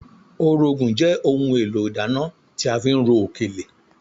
Orógùn jẹ́ ohun èlò ìdáná tí a fi ń ro òkèlè